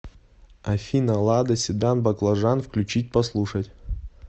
афина лада седан баклажан включить послушать